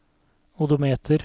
odometer